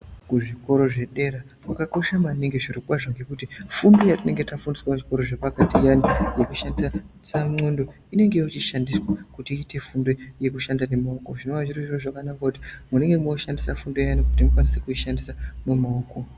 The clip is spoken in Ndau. Kuzvikoro zvedera kwakakosha maningi zviro kwazvo ngekuti fundo yatinenge tashandisa kuzvikoro zvepakati iyani nekushanisa nondo inenge yochishandiswa kuti iite fundo yekushanda nemaoko zvinova zviri zviro zvakanaka kuti munenge makushandisa fundo iyani kuti mukwanise kuishandisa nemaoko.